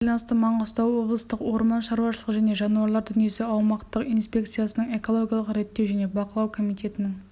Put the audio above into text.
осыған байланысты маңғыстау облыстық орман шарушылығы және жануарлар дүниесі аумақтық инспекциясының экологиялық реттеу және бақылау комитетінің